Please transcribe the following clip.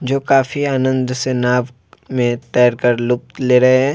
जो काफी आनंद से नाव में तैर कर लुप्त ले रहे है।